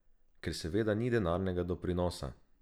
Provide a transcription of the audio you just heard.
Ker seveda ni denarnega doprinosa.